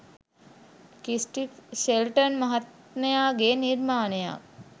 Christie Shelton මහත්මයාගේ නිර්මාණයක්.